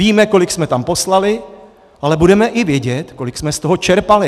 Víme, kolik jsme tam poslali, ale budeme i vědět, kolik jsme z toho čerpali.